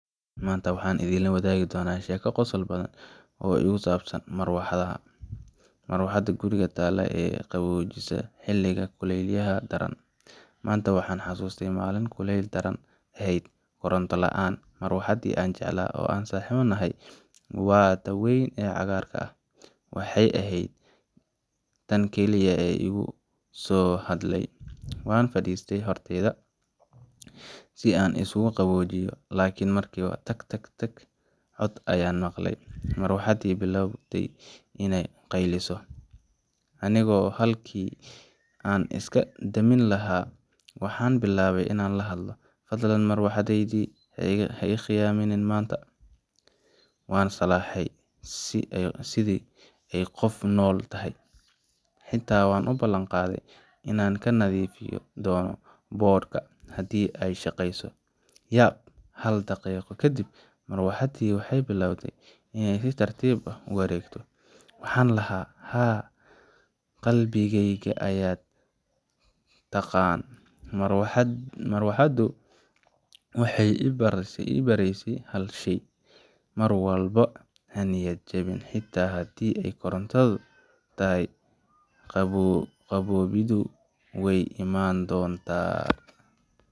maanta waxaan idinla wadaagayaa sheeko yar oo qosol badan oo igu saabsan marwaxad haa, marwaxadda guriga taalla, ee na qaboojisa xilliga kulaylaha daran Maanta waxaan xasuustay maalin kulayl daran ahayd, koronto la’aan. marwaxaddii aan jeclaa oo aan saaxiibbo nahay waa taa weyn ee cagaarka ah waxay ahayd tan keliya ee igu soo hadhay. Waan fadhiistay hortayda, si aan isugu qaboojiyo, laakiin markiiba [ca]tak-tak-tak cod ayaan maqlay Marwaxaddii bilow bayday inay qayliso Anigu halkii aan iska damin lahaa, waxaan bilaabay inaan la hadlo: Fadlan marwaxadeyda, ha i khiyaanin maanta Waan salaaxay sidii ay qof nool tahay, xitaa waxaan u ballan qaaday inaan ka nadiifin doono boodhka haddii ay shaqeyso. Yaab Hal daqiiqo kadib, marwaxaddii waxay bilowday inay si tartiib ah u wareegto. Waxaan lahaa, Haa Qalbigayga ayaad taqaan Marwaxaddu waxay i baraysaa hal shay: mar walba ha niyad jabin, xitaa haddii ay koronto yar tahayqaboobiddu wey iman doontaa.